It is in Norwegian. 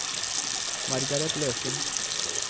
Margareth Løken